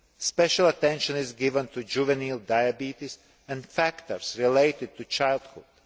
Special attention is given to juvenile diabetes and factors related to childhood.